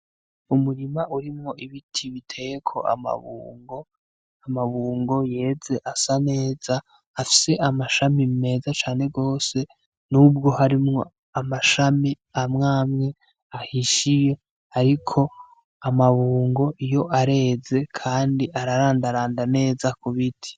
Umurima urimwo ibiti biteyeko amabungo, amabungo yeze asa neza afise amashami meza cane gose, n'ubwo harimwo amashami amwe amwe ahishiye, ariko amabungo yo areze kandi ararandaranda neza kubiti.